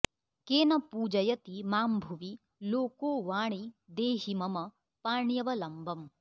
केन पूजयति मां भुवि लोको वाणि देहि मम पाण्यवलम्बम्